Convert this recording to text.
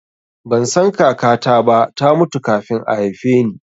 Ban san kakata ba, ta mutu kafin a haife ni